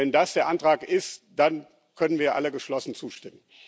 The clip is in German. Wenn das der Antrag ist, dann können wir alle geschlossen zustimmen.